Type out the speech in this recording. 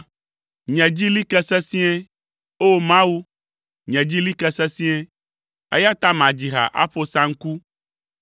Nye dzi li ke sesĩe, O Mawu, nye dzi li ke sesĩe, eya ta madzi ha aƒo saŋku.